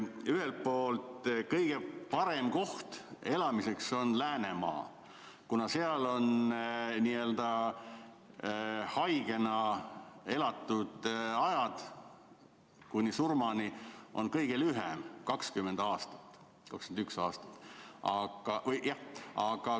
Ühelt poolt on kõige parem koht elamiseks Läänemaa, kuna seal on n‑ö haigena elatud aeg kõige lühem, 20 aastat või 21 aastat.